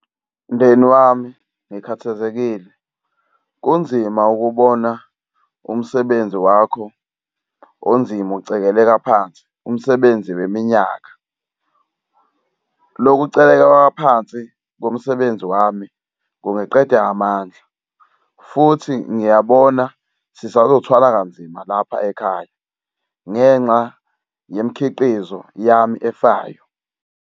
Mndeni wami ngikhathazekile, kunzima ukubona umsebenzi wakho onzima ucebeleka phansi umsebenzi weminyaka. Lokucekeleleka phansi komsebenzi wami kungiqeda amandla futhi ngiyabona sisazothwala kanzima lapha ekhaya ngenxa yemikhiqizo yami efayo.